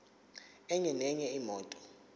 enye nenye imoto